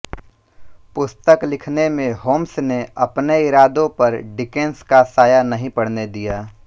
पुस्तक लिखने में होम्स ने अपने इरादों पर डिकेंस का साया नहीं पड़ने दिया